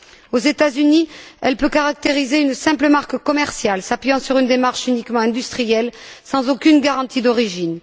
Aux États Unis, elle peut caractériser une simple marque commerciale, s'appuyant sur une démarche uniquement industrielle, sans aucune garantie d'origine.